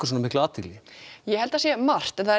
svona mikla athygli ég held það sé margt það er